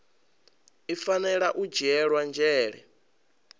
i fanela u dzhiela nzhele